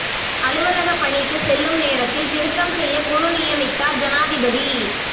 அலுவலக பணிக்கு செல்லும் நேரத்தில் திருத்தம் செய்ய குழு நியமித்தார் ஜனாதிபதி